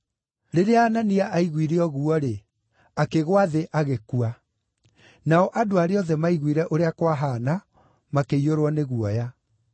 Rĩrĩa Anania aiguire ũguo-rĩ, akĩgũa thĩ na agĩkua. Nao andũ arĩa othe maiguire ũrĩa kwahaana makĩiyũrwo nĩ guoya.